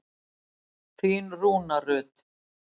Þín Rúna Rut.